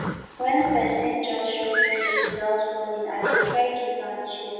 wen pesin just show face witout warning i dey try give am chair